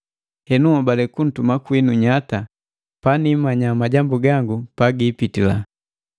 Henu nhobale kuntuma kwinu nyata paniimanya majambu gangu pagiimbitila.